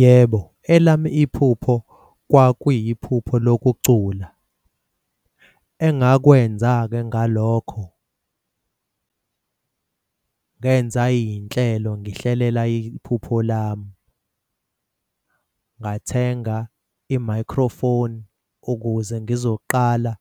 Yebo, elami iphupho kwakuyiphupho lokucula. Engakwenza-ke ngalokho ngenza iy'nhlelo ngihlelele iphupho lami. Ngathenga i-microphone ukuze ngizoqala